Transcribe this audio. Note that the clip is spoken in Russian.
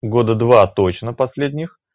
года два точно последних